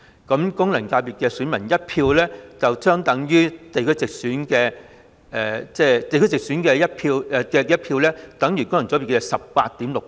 功能界別選民的1票相等於地區直選的......地區直選的1票等於功能界別的 18.6 倍。